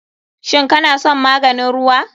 Shin kana son maganin ruwa?